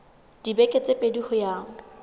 dibeke tse pedi ho ya